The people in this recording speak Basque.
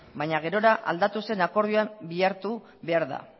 baina gerora aldatu zen akordioan bilatu behar da